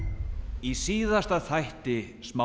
í síðasta þætti smá